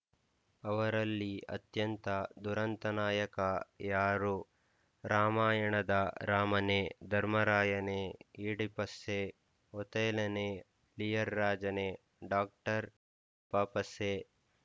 ಅವರಲ್ಲಿ ಅತ್ಯಂತ ದುರಂತನಾಯಕ ಯಾರು ರಾಮಾಯಣದ ರಾಮನೇ ಧರ್ಮರಾಯನೇ ಈಡಿಪಸ್ಸೇ ಒಥೇನನೇ ಲಿಯರ್ ರಾಜನೇ ಡಾಕ್ಟರ್ ಪಾಸ್ಟಸ್ಸೇ